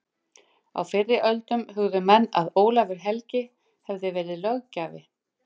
Á fyrri öldum hugðu menn að Ólafur helgi hefði verið löggjafi